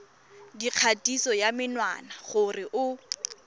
dikgatiso ya menwana gore o